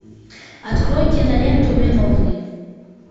открой киноленту виновный